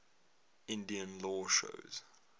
indian law shows